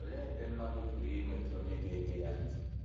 Olee ebe mmadụ pụrụ inweta onye ga - ege ya ntị?